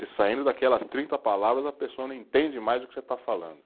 E saindo daquelas trinta palavras, a pessoa não entende mais o que você está falando.